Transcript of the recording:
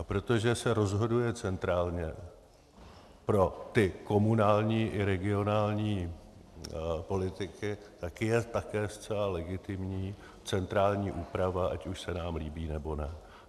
A protože se rozhoduje centrálně pro ty komunální i regionální politiky, tak je také zcela legitimní centrální úprava, ať už se nám líbí, nebo ne.